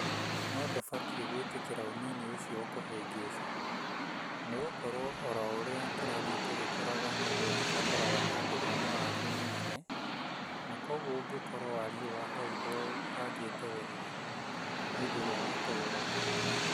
No ndũbatiĩ gwĩtĩkĩra ũnini ũcio ũkũhĩngĩce; nĩ gũkorwo o ũrĩa tũrathiĩ tũgĩkũraga noguo tũbataraga handũ hena wariĩ mũnene na kwoguo ũngĩkorwo wariĩ wa hau ndwaũbangite wega hĩndĩ ĩrĩa watũgũraga